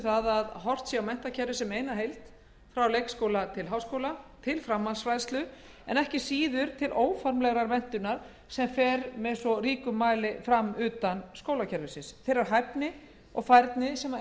um að horft sé á menntakerfið sem eina heild frá leikskóla til háskóla til framhaldsfræðslu og til óformlegrar menntunar sem fer fram utan skólakerfisins þeirrar hæfni og færni sem